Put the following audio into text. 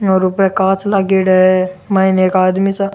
और उपे कांच लगेदा है मई ने एक आदमी सा --